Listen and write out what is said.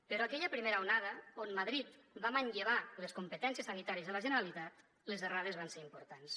però aquella primera onada on madrid va manllevar les competències sanitàries de la generalitat les errades van ser importants